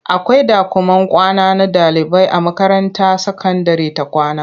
Akwai ɗakuman kwana na ɗaliibai a makaranta sakandire ta kwama.